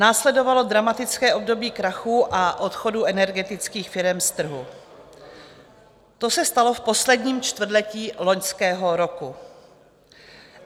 Následovalo dramatické období krachů a odchodů energetických firem z trhu, to se stalo v posledním čtvrtletí loňského roku.